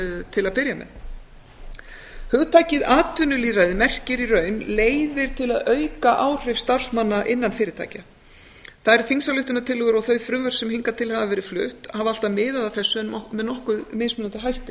til að byrja með hugtakið atvinnulýðræði merkir í raun leiðir til að auka áhrif starfsmanna innan fyrirtækja þær þingsályktunartillögur og þau frumvörp sem hingað til hafa verið flutt hafa alltaf miðað að þessu en með nokkuð mismunandi hætti